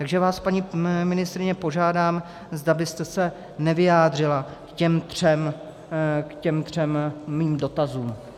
Takže vás, paní ministryně, požádám, zda byste se nevyjádřila k těm třem mým dotazům.